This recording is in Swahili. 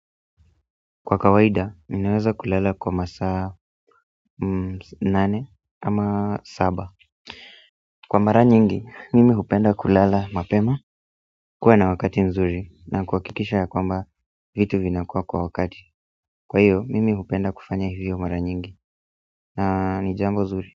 Kwa kawaida ninaweza kulala kwa masaa nane ama saba kwa mara nyingi, mimi hupenda kulala mapema kuwa na wakati nzuri na kuhakikisha ya kwamba vitu vinakuwa kwa wakati kwa hiyo, mimi hupenda kufanya hivyo mara nyingi na ni jambo nzuri.